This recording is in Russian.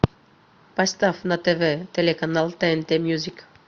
поставь на тв телеканал тнт мьюзик